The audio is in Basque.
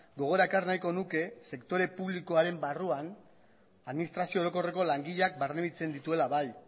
gogora ekar nahiko nuke sektore publikoaren barruan administrazio orokorreko langileak barnebiltzen dituela bai